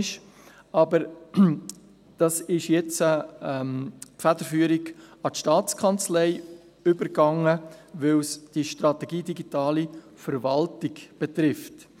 Dort ging jetzt aber die Federführung an die STA über, weil es die «Strategie Digitale Verwaltung» betrifft.